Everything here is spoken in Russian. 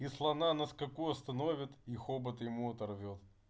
и слона на скаку остановит и хобот ему оторвёт